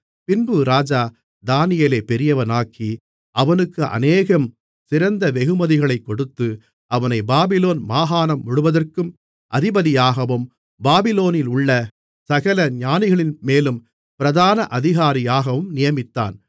பின்பு ராஜா தானியேலைப் பெரியவனாக்கி அவனுக்கு அநேகம் சிறந்த வெகுமதிகளைக் கொடுத்து அவனைப் பாபிலோன் மாகாணம் முழுவதற்கும் அதிபதியாகவும் பாபிலோனிலுள்ள சகல ஞானிகளின்மேலும் பிரதான அதிகாரியாகவும் நியமித்தான்